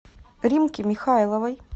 римке михайловой